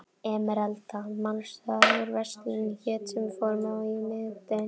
Emeralda, manstu hvað verslunin hét sem við fórum í á miðvikudaginn?